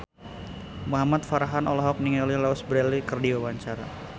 Muhamad Farhan olohok ningali Louise Brealey keur diwawancara